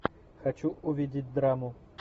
хочу увидеть драму